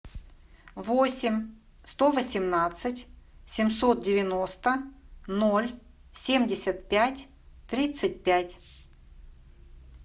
восемь сто восемнадцать семьсот девяносто ноль семьдесят пять тридцать пять